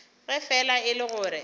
ge fela e le gore